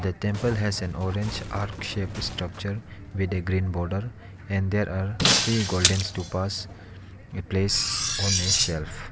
temple has an orange arc shaped structure with a green border and there are three golden stupas place on a shelf.